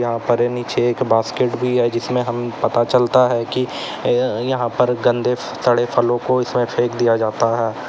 यहां पर नीचे एक बास्केट भी है जीसमें हम पता चलता है कि ये यहां पर गंदे सड़े फलों को इसमें फेंक दिया जाता है।